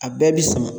A bɛɛ bi sama